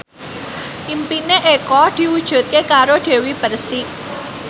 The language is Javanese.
impine Eko diwujudke karo Dewi Persik